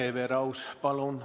Hele Everaus, palun!